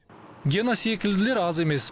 гена секілділер аз емес